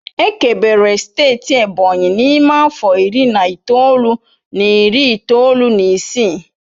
Ekebere steeti Ebonyi n'ime afọ iri na itoolu na iri itoolu na isii